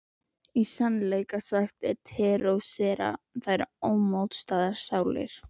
Í sannleika sagt terrorísera þær ómótaðar sálir.